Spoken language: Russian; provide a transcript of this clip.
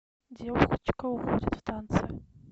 девочка уходит в танце